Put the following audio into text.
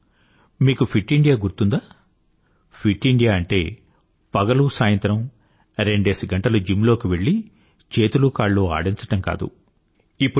అవునూ మీకు fit India గుర్తుందా ఫిట్ ఇండియా అంటే పగలూ సాయంత్రం రెండేసి గంటలు జిమ్ లోకి వెళ్ళి చేతులూ కాళ్ళూ ఆడించడం కాదు